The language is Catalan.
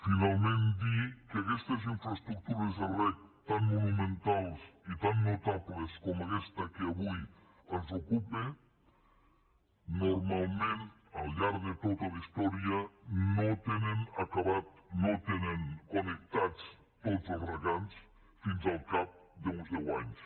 finalment dir que aquestes infraestructures de reg tan monumentals i tan notables com aquesta que avui ens ocupa normalment al llarg de tota la història no tenen connectats tots els regants fins al cap d’uns deu anys